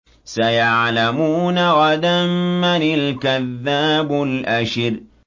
سَيَعْلَمُونَ غَدًا مَّنِ الْكَذَّابُ الْأَشِرُ